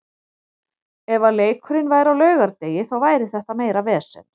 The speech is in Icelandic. Ef að leikurinn væri á laugardegi þá væri þetta meira vesen.